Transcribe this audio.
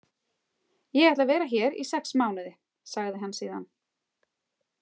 Ég ætla að vera hér í sex mánuði, sagði hann síðan.